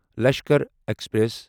Lashkar express